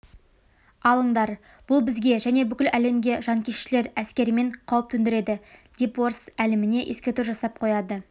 алыңдар бұл бізге және бүкіл әлемге жанкештілер әскерімен қауіп төндіреді депорыс әлеміне ескерту жасап қояды